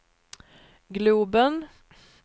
globen